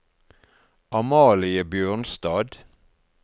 Amalie Bjørnstad